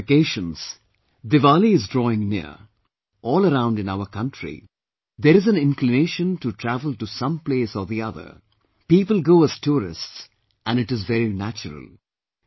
There are vacations, Diwali is drawing near, all around in our country, there is an inclination to travel to some place or the other; people go as tourists and it is very natural